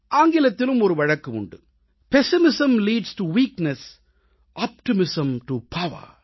ஆங்கிலத்திலும் ஒரு வழக்கு உண்டு pessimism leads to weakness optimism to power